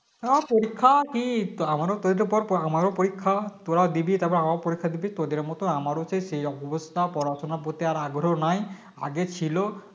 হ্যাঁ পরীক্ষা কি তো আমারও তোদের পর পর আমার পরীক্ষা তোরা দিবি তারপর আমরাও পরীক্ষা দেব তোদের মত আমারও সেই সেইরকম অবস্থা পড়াশোনা করতে আর আগ্রহ নাই আগে ছিল